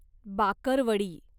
bakarwadi